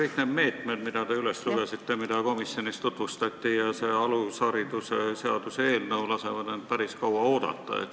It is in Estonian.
Kõik need meetmed, mis te üles lugesite ja mida ka komisjonis tutvustati, samuti alushariduse seaduse eelnõu lasevad end päris kaua oodata.